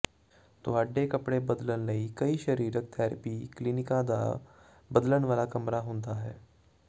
ਤੁਹਾਡੇ ਕੱਪੜੇ ਬਦਲਣ ਲਈ ਕਈ ਸਰੀਰਕ ਥੈਰੇਪੀ ਕਲੀਨਿਕਾਂ ਦਾ ਬਦਲਣ ਵਾਲਾ ਕਮਰਾ ਹੁੰਦਾ ਹੈ